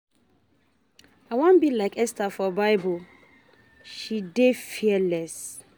I wan be like Esther for bible she dey fearless